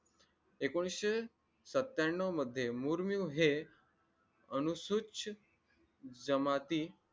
एकोणीशे सत्त्याण्णव मध्ये मुर्मूहे अनुस्वच्छ जमाती